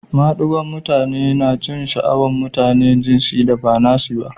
Madigon'mutane na jin sha'awan mutanen jinsin da ba nasi ba.